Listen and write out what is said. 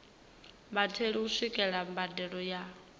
vhatheli u swikelela mbadelo ya